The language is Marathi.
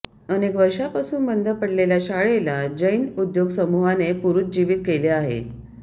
अनेक वर्षांपासून बंद पडलेल्या शाळेला जैन उद्योग समूहाने पुरुज्जीवीत केले आहे